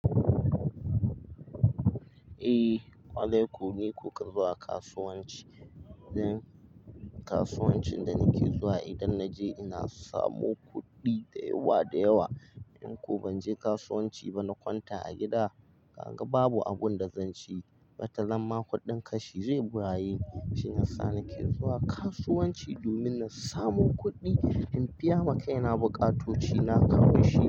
Eh, kwale ku ne kuka zuwa kasuwanci. Dan kasuwancin da nake zuwa idan naje ina samu kuɗi da yawa da yawa. In ko ban je kasuwanci ba na kwanta a gida, kaga babu abun da zan ci, bata zan ma kuɗin kashi zai bayu. Shiyasa nake zuwa kasuwanci domin na samu kuɗi in biya ma kaina buƙatoci na kamun shi.